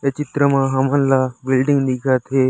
ए चित्र मा हामन ला बिल्डिंग दिखत हे।